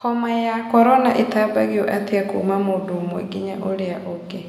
Homa ya korona ĩtambagio atĩa kũũma mũndũ ũmwe nginya ũrĩa ũngĩ?